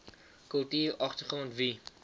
kultuur agtergrond wie